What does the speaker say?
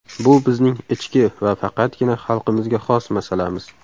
Bu bizning ichki va faqatgina xalqimizga xos masalamiz.